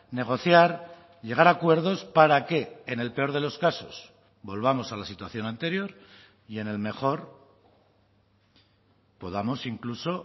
negociar llegar a acuerdos para que en el peor de los casos volvamos a la situación anterior y en el mejor podamos incluso